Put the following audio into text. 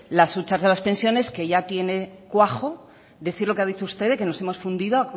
las huchas de las pensiones que ya tiene cuajo decir lo que ha dicho usted de que nos hemos fundido